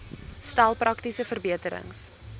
stel praktiese verbeterings